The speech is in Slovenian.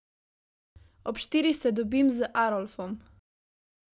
Ob štirih se dobim z Arolfom.